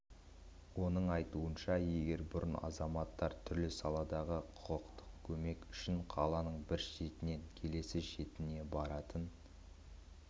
оның айтуынша егер бұрын азаматтар түрлі саладағы құқықтық көмек үшін қаланың бір шетінен келесі шетіне баратын